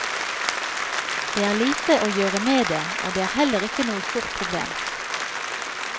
Det er lite å gjøre med det, og det er heller ikke noe stort problem.